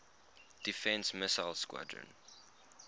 defense missile squadron